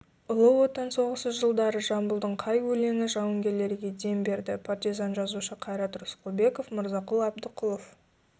ұлы отан соғысы жылдары жамбылдың қай өлеңі жауынгерлерге дем берді партизан жазушы қайрат рысқұлбеков мырзақұл әбдіқұлов